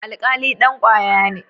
Alkali dan kwaya ne.